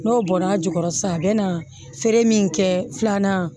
N'o bɔnna a jukɔrɔ sisan a bɛ na feere min kɛ filanan